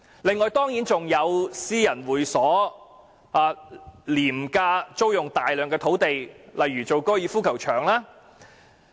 此外，還有私人會所廉價租用大量土地，例如用作高爾夫球場。